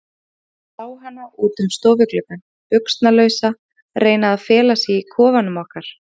Ég sá hana út um stofugluggann, buxnalausa, reyna að fela sig í kofanum okkar.